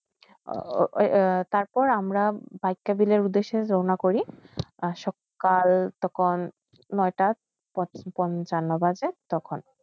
তারপর আমরা বাক্যবিলের উদ্দেশে রওনা করি সকাল তখন নয়টা পাঁচনা বাজে তখন